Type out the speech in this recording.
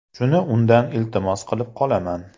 Shuni undan iltimos qilib qolaman.